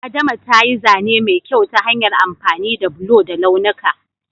Adama ta yi zane mai kyau ta hanyar amfani da bulo da launuka.